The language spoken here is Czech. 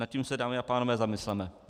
Nad tím se, dámy a pánové, zamysleme.